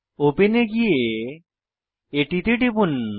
open এ গিয়ে এটিতে টিপুন